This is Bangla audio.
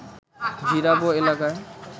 জিরাবো এলাকায়